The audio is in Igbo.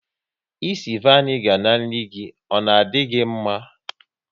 Ịsị vanigar n'nri gi, ọ na di gị mma?